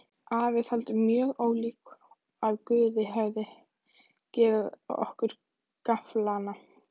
Afi taldi mjög ólíklegt að Guð hefði gefið okkur gafflana.